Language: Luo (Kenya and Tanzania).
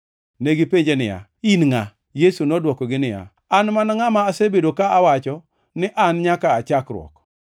Negipenje niya, “In ngʼa?” Yesu nodwokogi niya, “An mana ngʼama asebedo ka awacho ni an nyaka aa chakruok.